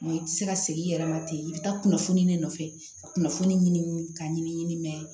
Mɛ i tɛ se ka segin i yɛrɛ ma ten i bɛ taa kunnafoni de nɔfɛ ka kunnafoni ɲini ka ɲini mɛ